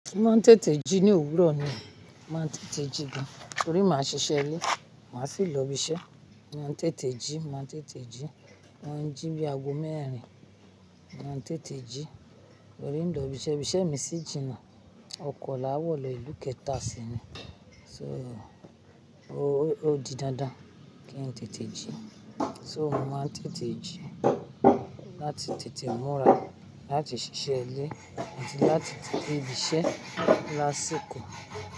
Mo máa ń tètè jí ní òwúrọ̀ ni, màá n tètè jí gan, torí màá ṣiṣẹ́ ilé, màá sì lọ ibi iṣẹ́. Máa ń tètè jí, máa ń tètè jí, máa ń jí bí àgo mẹ́rin, máa ń tètè jí torí ń lọ ibi iṣẹ́, ibi iṣẹ́ mi sì jìnà. Ọkọ̀ làá wọ̀ lọ ìlú kẹta si ni, so ó di dándán kí n tètè jí. So mo máa ń tètè jí láti tètè múra, láti ṣiṣẹ́ ilé àti láti tètède ibi iṣẹ́ lásì ko.